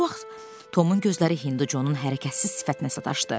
Bu vaxt Tomun gözləri Hindu Conun hərəkətsiz sifətinə sataşdı.